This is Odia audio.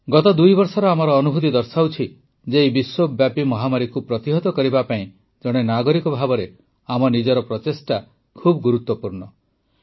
ଗତ ଦୁଇବର୍ଷର ଆମର ଅନୁଭୂତି ଦର୍ଶାଉଛି ଯେ ଏହି ବିଶ୍ୱବ୍ୟାପୀ ମହାମାରୀକୁ ପ୍ରତିହତ କରିବା ପାଇଁ ଜଣେ ନାଗରିକ ଭାବେ ଆମ ନିଜର ପ୍ରଚେଷ୍ଟା ଖୁବ ଗୁରୁତ୍ୱପୂର୍ଣ୍ଣ